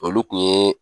Olu kun ye